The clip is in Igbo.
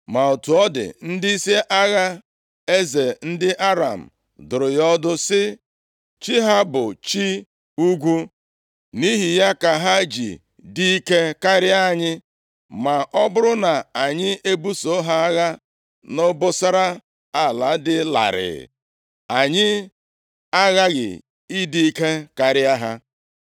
Ma otu ọ dị, ndịisi agha eze ndị Aram dụrụ ya ọdụ sị, “Chi ha bụ chi ugwu. Nʼihi ya ka ha ji dị ike karịa anyị. Ma ọ bụrụ na anyị ebuso ha agha nʼobosara ala dị larịị, anyị aghaghị ịdị ike karịa ha.